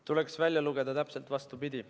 Tuleks välja lugeda täpselt vastupidi.